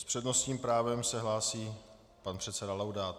S přednostním právem se hlásí pan předseda Laudát.